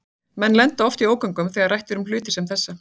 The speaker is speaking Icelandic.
Menn lenda oft í ógöngum þegar rætt er um hluti sem þessa.